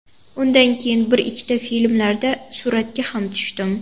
Undan keyin bir-ikkita filmlarda suratga ham tushdim.